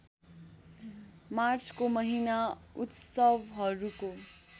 मार्चको महिना उत्सवहरूको